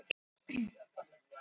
Vænt um skúrinn.